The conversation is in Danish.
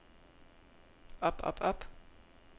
op op op